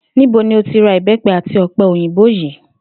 Níbo ni o ti ra ìbé̩pe̩ àti ò̩pe̩ òyìnbó yìí?